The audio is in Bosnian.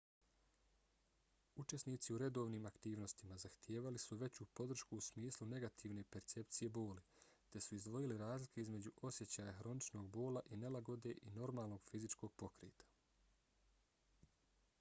učesnici u redovnim aktivnostima zahtijevali su veću podršku u smislu negativne percepcije boli te su izdvojili razlike između osjećaja hroničnog bola i nelagode i normalnog fizičkog pokreta